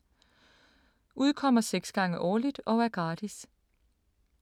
Udkommer 6 gange årligt og er gratis.